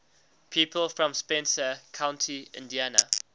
people from spencer county indiana